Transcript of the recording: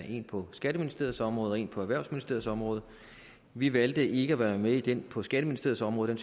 en på skatteministeriets område og en på erhvervsministeriets område vi valgte ikke at være med i den på skatteministeriets område